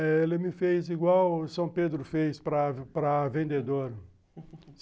É, ele me fez igual o São Pedro fez para, para vendedor.